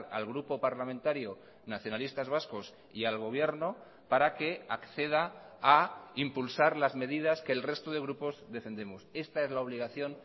al grupo parlamentario nacionalistas vascos y al gobierno para que acceda a impulsar las medidas que el resto de grupos defendemos esta es la obligación